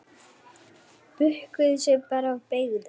Bukkuðu sig bara og beygðu!